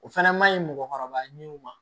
O fɛnɛ ma ɲi mɔgɔkɔrɔba ɲinw ma